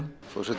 forseti